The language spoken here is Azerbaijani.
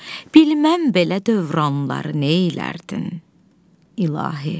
bilməm belə dövranları neylərdin, ilahi?